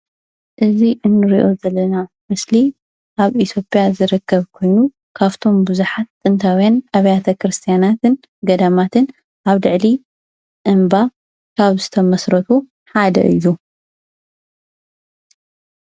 እዚ ንርእይዮ ዘለና ምስሊ ኣብ ኢትዮጵያ ዝርከብ ኮይኑ ካብቶም ቡዝሓት ጥንታውያን ኣብያተ ክርስትያናትን ገዳማትን ኣብ ልዕሊ እምባ ካብ ዝተመስረቱ ሓደ እዩ።